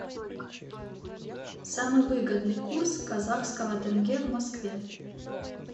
самый выгодный курс казахского тенге в москве